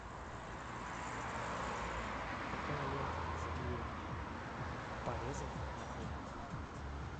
какая лента для заклеивания порезов на коже